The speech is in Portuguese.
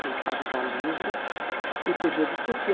Não precisava usar livro e podia discutir.